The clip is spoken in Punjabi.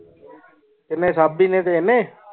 ਕੀਨੀ ਸਾਬੀ ਨੇ ਤੇ ਏਨੇ